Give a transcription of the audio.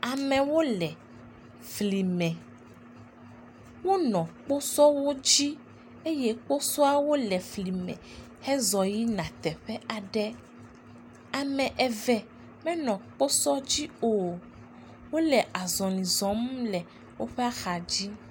Amewo le flime. Wonɔ kposɔwo dzi eye kposɔawo nɔ flime hezɔ yina teƒe aɖe. Ame eve menɔ kposɔ dzi o. Wole azɔli zɔm le woƒe axa dzi.